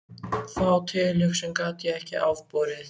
Þá tilhugsun gat ég ekki afborið.